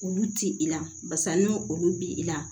Olu ti i la barisa ni olu bi i la